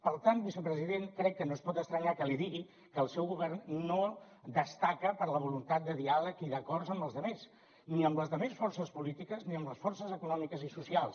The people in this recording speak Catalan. per tant vicepresident crec que no es pot estranyar que li digui que el seu govern no destaca per la voluntat de diàleg i d’acords amb els altres ni amb les altres forces polítiques ni amb les forces econòmiques i socials